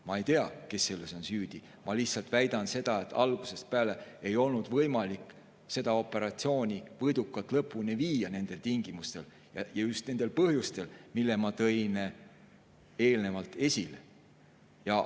Ma ei tea, kes selles süüdi on, ma lihtsalt väidan, et algusest peale ei olnud võimalik seda operatsiooni nendel tingimustel võidukalt lõpuni viia ja just nendel põhjustel, mille ma eelnevalt esile tõin.